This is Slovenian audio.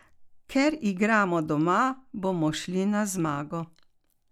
Ker igramo doma, bomo šli na zmago.